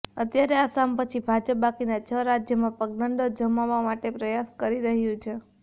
અત્યારે આસામ પછી ભાજપ બાકીના છ રાજ્યોમાં પગદંડો જમાવવા માટે પ્રયાસ કરી રહ્યું છે